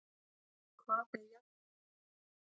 Hvað er jarðhiti?